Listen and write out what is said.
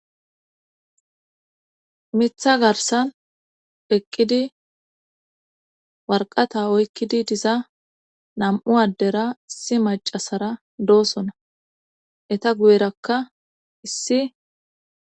Mitha garsan eqqidi warqata oykkidi diza nam7u addera issi macasara doosona eta guyerakka issi